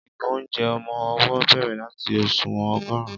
ìgò ounjẹ ọmọ owó bèrè lati òṣùwọ̀n ogorun